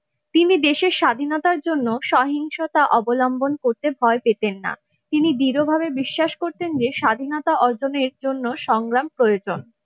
তিনি দেশের স্বাধীনতার জন্য সহিংসতা অবলম্বন করতে ভয় পেতেন না তিনি দৃঢ়ভাবে বিশ্বাস করতেন যে স্বাধীনতা অর্জনের জন্য সংগ্রাম প্রয়োজন ।